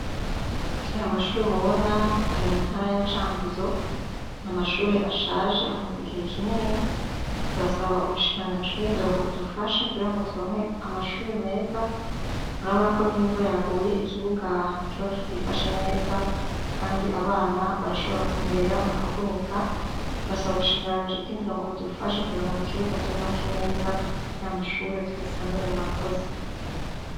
Aya mashure mubona, Ari mu ntara ya Cankuzo. N'amashure ashaje amaze igihe kinini, turasaba ubushikiranganji bw'indero bwodufasha kugira ngo turonke amashure meza, murabonako n'imvura yaguye, ikibuga kiba kitifashe neza Kandi abana barashobora kunyerera bakavunika, turasaba ubushikiranganji bw'indero ngo budufashe kugira ngo mu kibuga tuhubake neza n'ashure tuyasanure, murakoze.